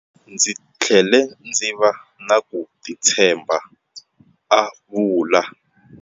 "Ndzi tlhele ndzi va na ku titshemba", a vula.